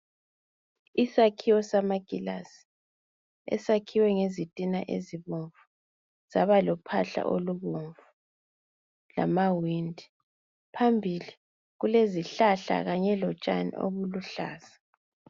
Isakhiwo sama kilasi esakhwe ngezitina ezibomvu zaba lophahla olubomvu lamawindi, phambili kulezihlahla kanye lotshani obuluhlaza.